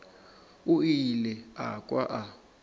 o ile a kwa a